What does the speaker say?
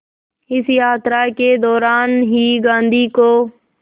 इस यात्रा के दौरान ही गांधी को